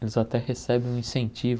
Eles até recebem um incentivo